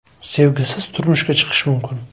Sevgisiz turmushga chiqishim mumkin.